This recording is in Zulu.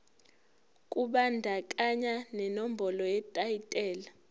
kubandakanya nenombolo yetayitela